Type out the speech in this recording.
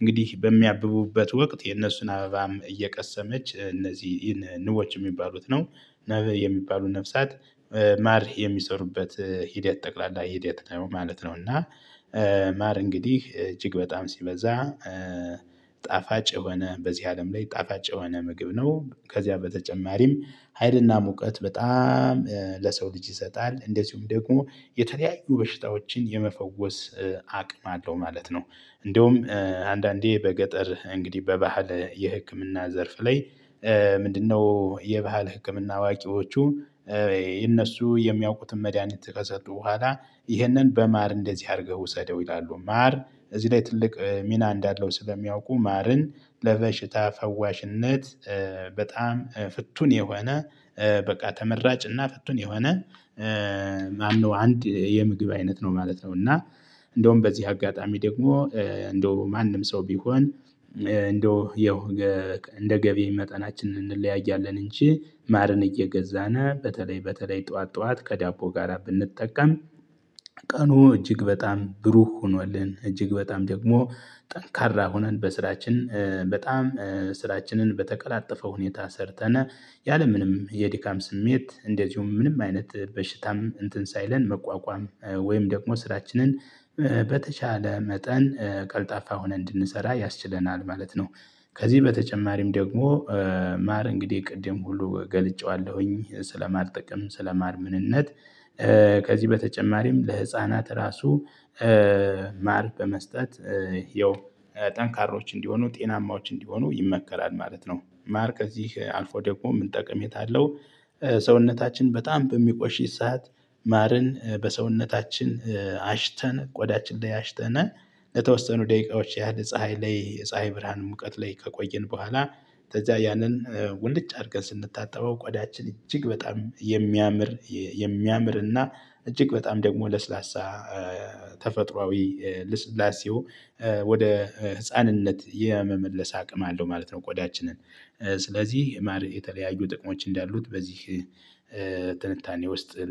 እንግዲህ በሚያብቡበት ወቅት የነሱን አበባም እየቀሰመች እነዚህ ንቦች የሚባሉት ነው ነብህ የሚባሉ ነፍሳት ማር የሚሰሩበት ሂደት ጠቅላላ ሂደት ማለት ነው። እና ማር እንግዲህ እጅግ በጣም ሲበዛ ጣፋጭ የሆነ በዚህ አለም ላይ ጣፋጭ የሆነ ምግብ ነው። ከዚያ በተጨማሪም ሀይልና ሙቀት በጣም ለሰው ልጅ ይሰጣል እንደዚሁም ደግሞ የተለያዩ በሽታዎችን የመፈወስ አቅም አለው ማለት ነው። እንደውም አንዳንዴ በገጠር እንግዲህ በባህል የህክምና ዘርፍ ላይ ምንድነው? የባህል ህክምና አዋቂዎቹ እነሱ የሚያውቁትን መድሃኒት ከሰጡ በኋላ ይህንን በማር እንደዚህ አድርገው ውሰደው ይላሉ። ማር እዚህ ላይ ትልቅ ሚና እንዳለው ስለሚያውቁ ማርን ለበሽታ ፈዋሽነት በጣም ፍቱን የሆነ በቃ ተመራጭ እና ፍቱን የሆነ ማነው አንድ የምግብ አይነት ነው ማለት ነው። እና እንደውም በዚህ አጋጣሚ ደግሞ እንደው ማንም ሰው ቢሆን እንደው የው እንደ ገቢ መጠናችንን እንለያያለን እንጂ ማርን እየገዛን በተለይ በተለይ ጠዋት ጠዋት ከዳቦ ጋራ ብንጠቀም። ቀኑ እጅግ በጣም ብሩህ ሆኖልን እጅግ በጣም ደግሞ ጠንካራ ሆነን በስራችን በጣም ስራችንን በተቀላጠፈ ሁኔታ ሰርተነ ያለምንም የድካም ስሜት እንደዚሁም ምንም አይነት በሽታም እንትን ሳይለን መቋቋም ወይም ደግሞ ስራችንን በተቻለ መጠን ቀልጣፋ ሆነ እንድንሰራ ያስችለናል ማለት ነው። ከዚህ በተጨማሪም ደግሞ ማር እንግዲህ ቅድም ሁሉ ገልጬዋለሁኝ ስለማልጠቅም ስለማር ምንነት ከዚህ በተጨማሪም ለህፃናት ራሱ በመስጠት ያው ጠንካሮች እንዲሆኑ ጤናማዎች እንዲሆኑ ይመከራል። ማለት ነው። ማር ከእዚህ አልፎ ደግሞ ምን ጠቅሜታ አለው? ሰውነታችን በጣም በሚቆሽሽ ሰዓት ማርን በሰውነታችን አሽተን ቆዳችን ላይ አሽተናል ለተወሰኑ ደቂቃዎች ያህል ፀሀይ ላይ የፀሀይ ብርሃን ሙቀት ላይ ከቆየን በኋላ ከዛ ያንን ወንድጭ አድርገን ስንታጠበው ቆዳችን እጅግ በጣም የሚያምር የሚያምር እና እጅግ በጣም ደግሞ ለስላሳ ተፈጥሮአዊ ልስላሴው ወደ ህፃንነት የመመለስ አቅም አለው ማለት ነው። ቆዳችንን ስለዚህ የማር የተለያዩ ጥቅሞች እንዳሉት በዚህ ትንታኔ ውስጥ